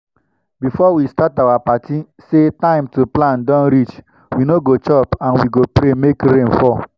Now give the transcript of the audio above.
before we start our party say time to plant don reach we no go chop and we go pray make rain fall.